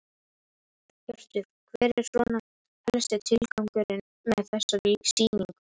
Hjörtur: Hver er svona helsti tilgangurinn með þessari sýningu?